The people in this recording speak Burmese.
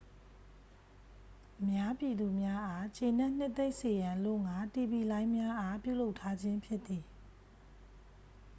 အများပြည်သူများအား ကျေနှပ်နှစ်သိမ့်စေရန်အလို့ဌာ တီဗီလိုင်းများအား ပြုလုပ်ထားခြင်း ဖြစ်သည်